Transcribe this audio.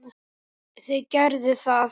Þau gerðu það.